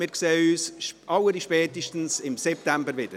Wir sehen uns allerspätestens im September wieder.